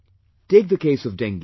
Take the case of Dengue